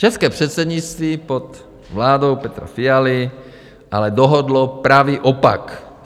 České předsednictví pod vládou Petra Fialy ale dohodlo pravý opak.